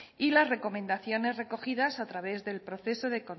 y las recomendaciones recogidas a través del proceso